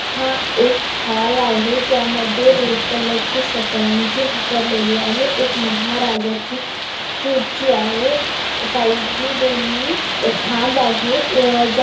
हा एक हॉल आहे ज्यामध्ये रेड कलर ची सतरंजी हतरलेली आहे एक महाराजाची कुर्सी आहे साइडनी दोनी खाम्भ आहेत ज्या--